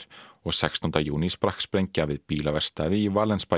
og sextánda júní sprakk sprengja við bílaverkstæði í